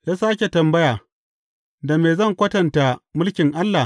Ya sāke tambaya, Da me zan kwatanta mulkin Allah?